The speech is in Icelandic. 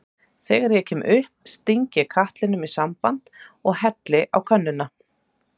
Þegar ég kem upp sting ég katlinum í samband og helli á könnuna.